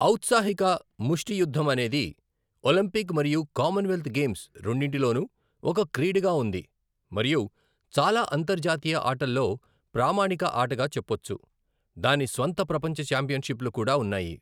ఔత్సాహిక ముష్టి యుద్ధం అనేది ఒలింపిక్ మరియు కామన్వెల్త్ గేమ్స్ రెండింటిలోనూ ఒక క్రీడగా ఉంది మరియు చాలా అంతర్జాతీయ అట్టల్లో ప్రామాణిక ఆటగా చెపొచ్చు . దాని స్వంత ప్రపంచ ఛాంపియన్షిప్లు కూడా ఉన్నాయి.